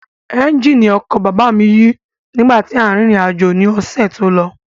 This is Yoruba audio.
Ẹ́ńjìnì ọkọ̀ bàbá mi yí nígbà tí à ń rírìn àjò ni ọ̀sẹ̀ tó lọ